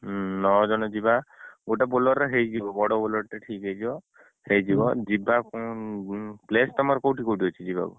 ହୁଁ ନ ଜଣ ଯିବା silnece ଗୋଟେ Bolero ରେ ହେଇଯିବ ବଡ Bolero ଟେ ଠିକ ହେଇଯିବ ଯିବା କଣ place ତମର କୋଉଠି କୋଉଠି ଅଛି ଯିବାକୁ?